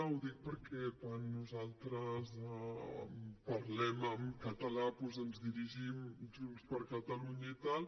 ho dic perquè quan nosaltres parlem en català doncs ens dirigim com a junts per catalunya i tal